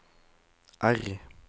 R